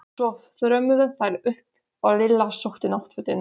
Svo þrömmuðu þær upp og Lilla sótti náttfötin.